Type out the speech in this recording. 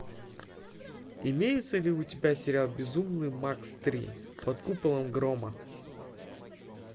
имеется ли у тебя сериал безумный макс три под куполом грома